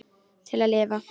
Til að lifa.